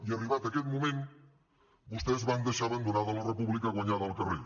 i arribat aquest moment vostès van deixar abandonada la república guanyada al carrer